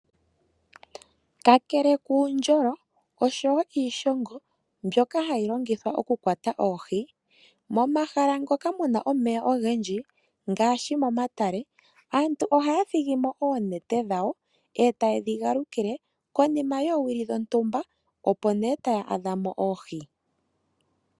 Kakele kuundjolo oshowoo iishongo mbyoka hayi longithwa okukwata oohi , momahala ngoka muna omeya ogendji ngaashi momatale, aantu ohaya thigimo oonete dhawo etaye dhi galukile konima yoowili dhontumba ndee etaye dhi adhamo.